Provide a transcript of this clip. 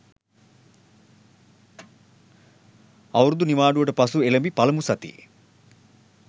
අවුරුදු නිවාඩුවට පසු එළැඹි පළමු සතියේ